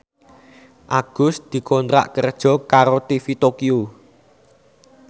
Agus dikontrak kerja karo TV Tokyo